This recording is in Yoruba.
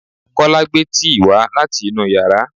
Kọ́lá gbé tíì wá láti inú yàrá